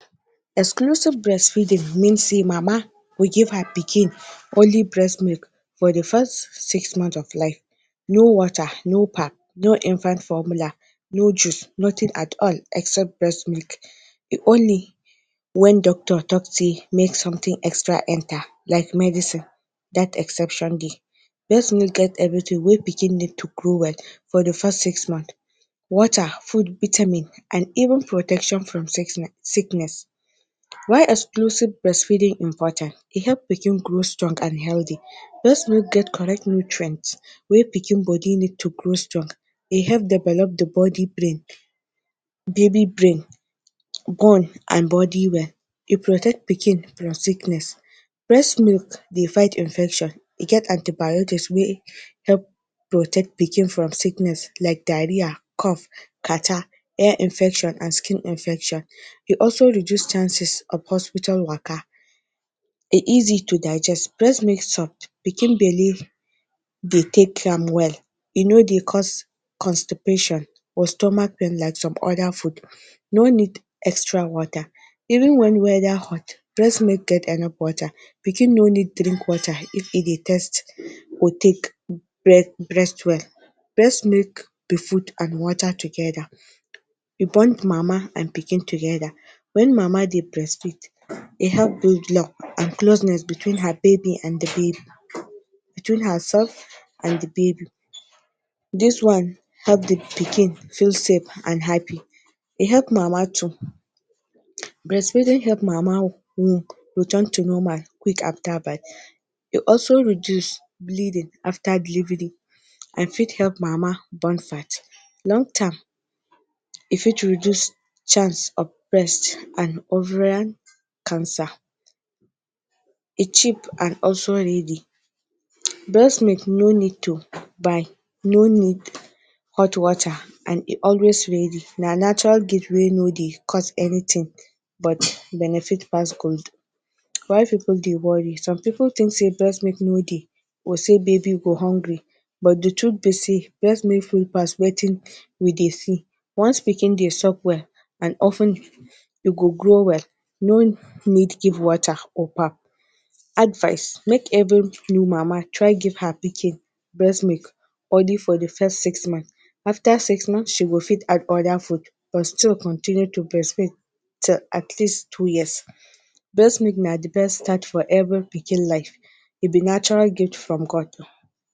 Exclusive breastfeeding mean sey mama go give her pikin only breast milk for the first six months of life. No water, no pap, no infant formula, no juice, nothing at all except breast milk. only when doctor talk sey make something extra enter like medicine, that exception dey. Breast milk get everything wey pikin need to grow well for the first six months. Water, food, vitamin and even protection from sickness. Why exclusive breastfeeding important? E help pikin grow strong and healthy. Breast milk get correct nutrient wey pikin body need to grow strong. E help develop the body brain baby brain, bone and body well. E protect pikin from sickness. Breast milk dey fight infection. E get antibiotics wey help protect pikin from sickness like diarrhea, cough, catarrh, air infection and skin infection. E also reduce chances of hospital waka. E easy to digest. Breast milk soft. Pikin belly dey take am well. E no dey cause constipation or stomach pain like some other food. No need extra water. Even when weather hot, breast milk get enough water. Pikin no need drink water if e dey thirst or take breast well. Breast milk be food and water together. E bond mama and pikin together. When mama dey breastfeed, e help bring love and closeness between her baby and the baby between herself and the baby. This one help the pikin feel safe and happy. E help mama too. Breast feeding help mama womb return to normal quick after birth. E also reduce bleeding after delivery and fit help mama burn fat. e fit reduce chance of breast and ovarian cancer. E cheap and also ready. Breast milk no need to buy, no need hot water and e always ready. Na natural gift wey no dey cause anything but benefit pass gold. Why pipu dey worry? Some pipu think sey breast milk no dey or sey baby go hungry. But, the truth be sey breast milk full pass wetin we dey see. Once pikin dey suck well and of ten e go grow well. No need give water or pap. Advice: Make every mama try her pikin breast milk only for the first six months. After six months, she go fit add other food but still continue to breastfeed till atleast two years. Breast milk na the best start for every pikin life. E be natural gift from God.